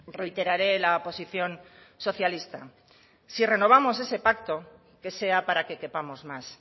reiteraré la posición socialista si renovamos ese pacto que sea para que quepamos más